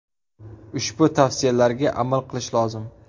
Ushbu tavsiyalarga amal qilish lozim.